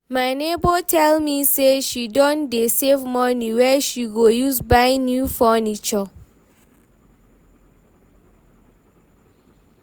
my nebor tell me say she don dey save money wey she go use buy new furniture